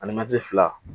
Ani mɛtiri fila